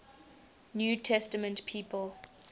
new testament people